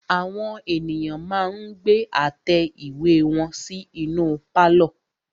Àwọn ènìyàn ma ń gbé àtẹ ìwé wọn sí inú pálọ̀.